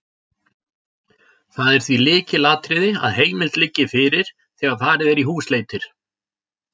Það er því lykilatriði að heimild liggi fyrir þegar farið er í húsleitir.